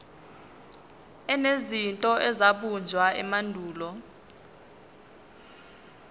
enezinto ezabunjwa emandulo